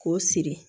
K'o siri